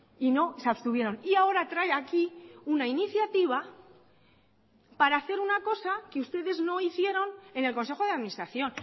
y no se abstuvieron y ahora trae aquí una iniciativa para hacer una cosa que ustedes no hicieron en el consejo de administración